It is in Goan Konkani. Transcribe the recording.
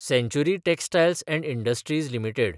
सँचुरी टॅक्स्टायल्स & इंडस्ट्रीज लिमिटेड